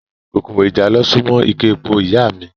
Kòkòrò ìjàlọ ṣù mọ́ ike epo ìyá a mi